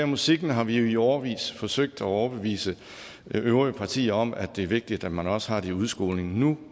musikken har vi jo i årevis forsøgt at overbevise de øvrige partier om at det er vigtigt at man også har det i udskolingen nu